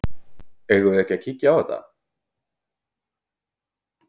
Eigum við ekki að kíkja á þetta?